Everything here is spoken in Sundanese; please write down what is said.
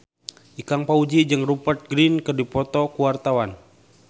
Ikang Fawzi jeung Rupert Grin keur dipoto ku wartawan